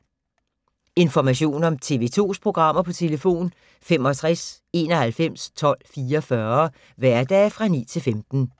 Information om TV 2's programmer: 65 91 12 44, hverdage 9-15.